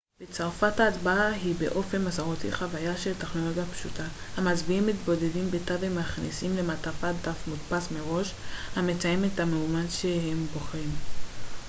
בצרפת ההצבעה היא באופן מסורתי חוויה של טכנולוגיה פשוטה המצביעים מתבודדים בתא ומכניסים למעטפה דף מודפס מראש המציין את המועמד בו הם בוחרים